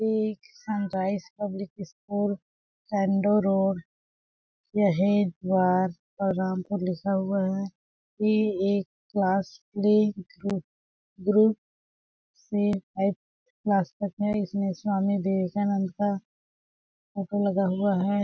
ये एक sunrise public school या बलरामपुर लिखा हुआ है। ये एक क्लास ग्रुप से एट क्लास तक है इसमें स्वामी विवेकानंद का फोटो लगा हुआ है।